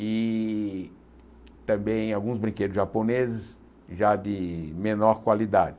E também alguns brinquedos japoneses, já de menor qualidade.